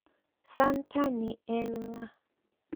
Santa ni en ng`a?